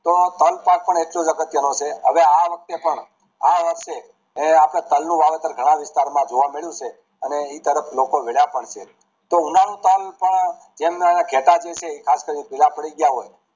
તો તલ પાક પણ એટલો જ અગત્ય નો છે હવે આ વખતે પણ આ વખતે આપડે તાલ નું વાવેતર ઘણા વિસ્તરો માં જોવા મળું છે અને એ તરફ લોકો વલા પણ છે તો જેમના ઘેટાં છે જે ખાસ કરી ને ચીરા પડી ગયા હોય